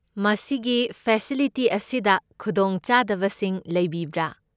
ꯃꯁꯤꯒꯤ ꯐꯦꯁꯤꯂꯤꯇꯤ ꯑꯁꯤꯗ ꯈꯨꯗꯣꯡꯆꯥꯗꯕꯁꯤꯡ ꯂꯩꯕꯤꯕ꯭ꯔꯥ?